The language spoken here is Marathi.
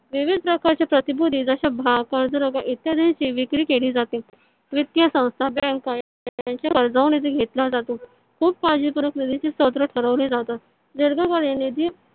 विविध प्रकारच्या प्रतिभूती जश्या भाग कर्ज रोखयाची इत्यादीची विक्री केली जाते. वित्तीय संस्था बँका यांच्या निधी घेतला जातो खूप काळजी पूर्वक निधीची स्त्रोत ठरवली जाते. दीर्घकालीन निधी